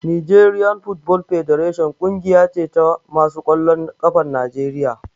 Nigerian football federation ƙungiya ce ta masu ƙwallon ƙafan Najeriya